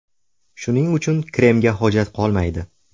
Shuning uchun kremga hojat qolmaydi.